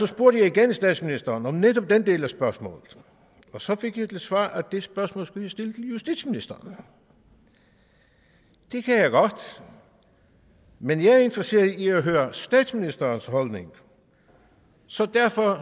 spurgte jeg igen statsministeren om netop den del af spørgsmålet og så fik jeg til svar at det spørgsmål skulle jeg stille til justitsministeren det kan jeg godt men jeg er interesseret i at høre statsministerens holdning så derfor